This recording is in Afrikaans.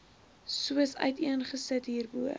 soos uiteengesit hierbo